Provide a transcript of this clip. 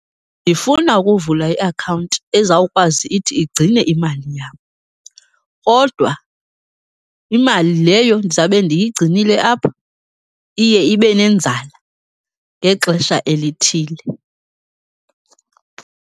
Ndifuna ukuvula iakhawunti ezawukwazi ithi igcine imali yam, kodwa imali leyo ndizawube ndiyigcinile apho iye ibe nenzala ngexesha elithile.